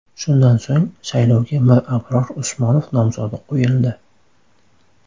Shundan so‘ng, saylovga Mirabror Usmonov nomzodi qo‘yildi.